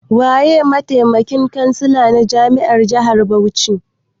Waye mataimakin kansila na jami'ar jihar Bauchi?